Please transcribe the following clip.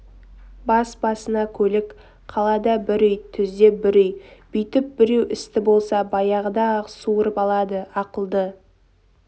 бас-басына көлік қалада бір үй түзде бір үй бүйтіп біреу істі болса баяғыда-ақ суырып алады ақылды